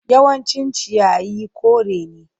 Yawancin ciyayi kore ne.